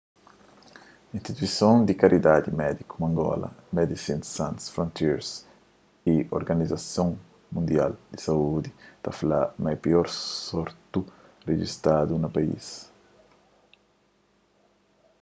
instituison di karidadi médiku mangola medecines sans frontieres y organizason mundial di saúdi ta fla ma é pior surtu rijistadu na país